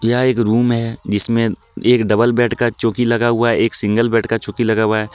यह एक रूम है जिसमें एक डबल बेड का चौकी लगा हुआ हैं एक सिंगल बेड का चौकी लगा हुआ है.